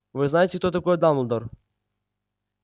вы знаете кто такой дамблдор